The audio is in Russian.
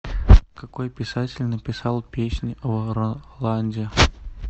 какой писатель написал песнь о роланде